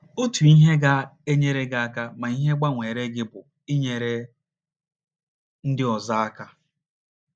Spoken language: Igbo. Otu ihe ga - enyere gị aka ma ihe gbanweere gị bụ inyere ndị ọzọ aka.